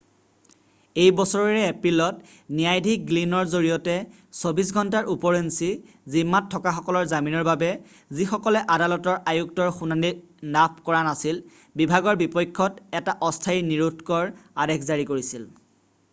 এই বছৰৰে এপ্ৰিলত ন্যায়াধীশ গ্লিনৰ জৰিয়তে 24 ঘণ্টাৰ উপৰঞ্চি জিম্মাত থকাসকলৰ জামিনৰ বাবে যিসকলে আদালতৰ আয়ুক্তৰ শুনানি লাভ কৰা নাছিল বিভাগৰ বিপক্ষত এটা অস্থায়ী নিৰোধকৰ আদেশ জাৰি কৰিছিল